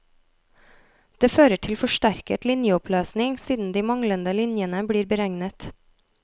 Det fører til forsterket linjeoppløsning siden de manglende linjene blir beregnet.